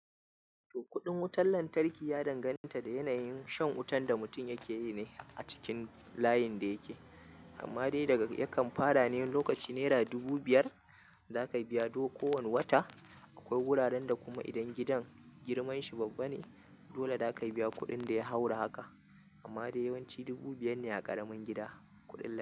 Kudin wutan lantarki ya danganta da yanayin shan wutan da mutum yake yi ne a cikin layin da yake. Amma dai daga yakan fara ne lokaci nera dubu biyar zaka biya du ko wani wata. Akwai wuraren da kuma idan gidan girman shi babba ne, dole zaka biya kuɗin da ya haura haka. Amma dai yawanci dubu biyar ne a ƙaramin gida kuɗin layin.